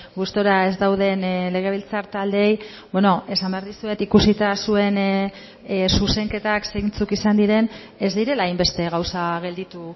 gustura ez dauden legebiltzar taldeei esan behar dizuet ikusita zuen zuzenketak zeintzuk izan diren ez direla hainbeste gauza gelditu